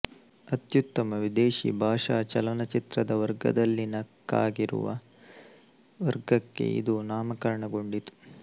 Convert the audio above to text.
ಅತ್ಯುತ್ತಮ ವಿದೇಶೀ ಭಾಷಾ ಚಲನಚಿತ್ರದ ವರ್ಗದಲ್ಲಿನ ಕ್ಕಾಗಿರುವ ವರ್ಗಕ್ಕೆ ಇದು ನಾಮಕರಣಗೊಂಡಿತು